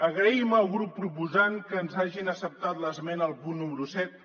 agraïm al grup proposant que ens hagin acceptat l’esmena al punt número set